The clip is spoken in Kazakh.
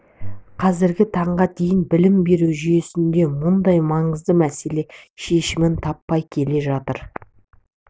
қазіргі таңға дейін білім беру жүйесінде мұндай маңызды мәселе шешімін таппай келе жатыр